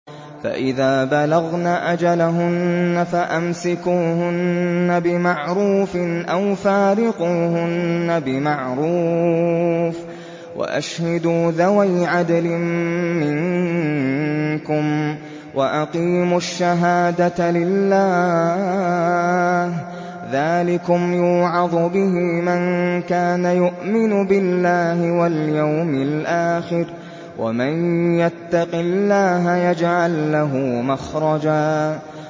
فَإِذَا بَلَغْنَ أَجَلَهُنَّ فَأَمْسِكُوهُنَّ بِمَعْرُوفٍ أَوْ فَارِقُوهُنَّ بِمَعْرُوفٍ وَأَشْهِدُوا ذَوَيْ عَدْلٍ مِّنكُمْ وَأَقِيمُوا الشَّهَادَةَ لِلَّهِ ۚ ذَٰلِكُمْ يُوعَظُ بِهِ مَن كَانَ يُؤْمِنُ بِاللَّهِ وَالْيَوْمِ الْآخِرِ ۚ وَمَن يَتَّقِ اللَّهَ يَجْعَل لَّهُ مَخْرَجًا